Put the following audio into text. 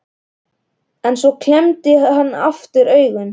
En svo klemmdi hann aftur augun.